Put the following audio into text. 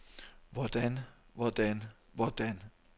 hvordan hvordan hvordan